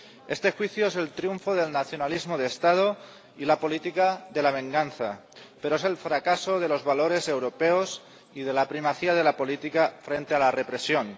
Este juicio es el triunfo del nacionalismo de Estado y la política de la venganza, pero es el fracaso de los valores europeos y de la primacía de la política frente a la represión.